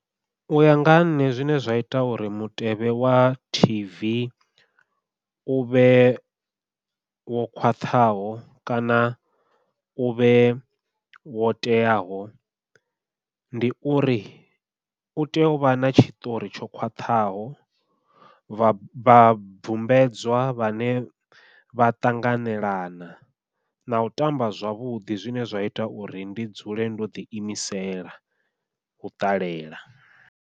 Uya nga ha nṋe zwine zwa ita uri mutevhe wa tv uvhe wo khwaṱhaho kana uvhe wo teaho, ndi uri u tea u vha na tshiṱori tsho khwaṱhaho vha vhabvumbedzwa vhane vha ṱanganelana nau tamba zwavhuḓi zwine zwa ita uri ndi dzule ndo ḓi imisela u ṱalela.